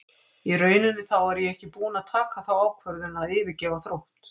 Í rauninni þá var ég ekki búinn að taka þá ákvörðun að yfirgefa Þrótt.